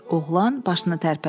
Oğlan başını tərpətdi.